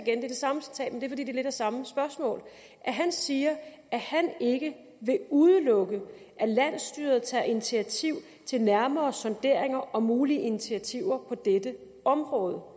igen er det samme spørgsmål han siger at han ikke vil udelukke at landsstyret tager initiativ til nærmere sonderinger om mulige initiativer på dette område